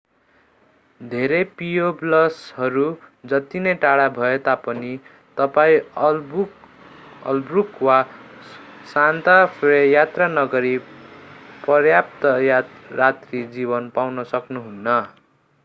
धेरै पियोबल्सहरू जति नै टाढा भए तापनि तपाईं अल्बुकर्क वा सान्ता फे यात्रा नगरी पर्याप्त रात्री जीवन पाउन सक्नुहुन्न